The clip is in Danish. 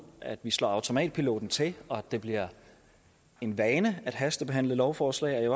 at slå automatpiloten til og at det bliver en vane at hastebehandle lovforslag jeg